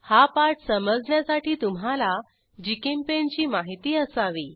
हा पाठ समजण्यासाठी तुम्हाला जीचेम्पेंट ची माहिती असावी